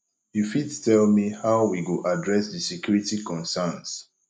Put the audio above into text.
you fit tell me how we go address di security conerns